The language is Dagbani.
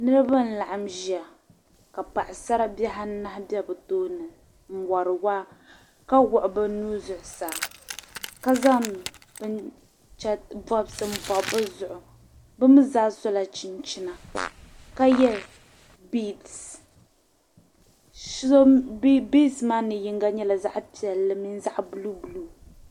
Niriba n-laɣim ʒia ka paɣisaribihi anahi m-be bɛ tooni n-wari waa ka wuɣi bɛ nuu zuɣusaa ka zaŋ bɔbisi m-bɔbi bɛ zuɣu. Bɛ mi zaa sɔla chinchina ka ye biisi. Biisi maa mi yiŋga nyɛla zaɣ' piɛlli mini zaɣ' buluubuluu.